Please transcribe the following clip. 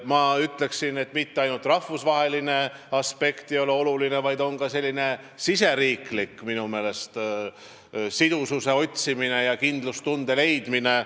Ja ma ütleksin, et mitte ainult rahvusvaheline aspekt ei ole oluline, oluline on minu meelest ka riigisisene sidususe ja kindlustunde leidmine.